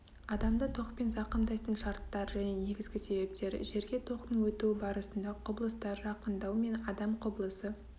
адамды токпен зақымдайтын шарттар және негізгі себептер жерге токтың өтуі барысында құбылыстар жақындау мен адам құбылысы